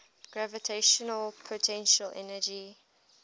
gravitational potential energy